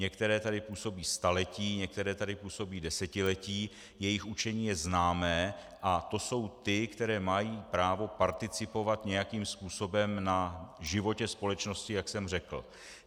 Některé tady působí staletí, některé tady působí desetiletí, jejich učení je známé, a to jsou ty, které mají právo participovat nějakým způsobem na životě společnosti, jak jsem řekl.